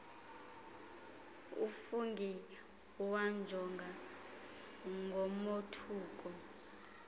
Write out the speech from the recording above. ufungie wamjonga ngomothuko